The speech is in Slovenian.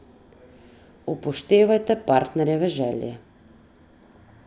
Upoštevajte partnerjeve želje.